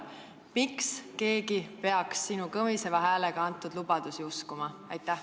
Miks keegi peaks sinu kõmiseva häälega antud lubadusi uskuma?